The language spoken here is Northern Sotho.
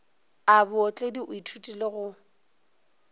a bootledi o ithutile go